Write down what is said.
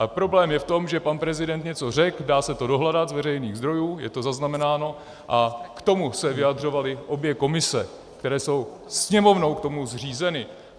Ale problém je v tom, že pan prezident něco řekl, dá se to dohledat z veřejných zdrojů, je to zaznamenáno, a k tomu se vyjadřovaly obě komise, které jsou Sněmovnou k tomu zřízeny.